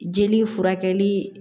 Jeli furakɛli